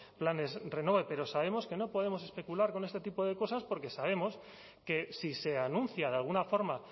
planes renove pero sabemos que no podemos especular con este tipo de cosas porque sabemos que si se anuncia de alguna forma